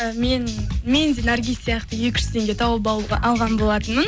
мен мен де наргиз сияқты екі жүз теңге тауып алған болатынмын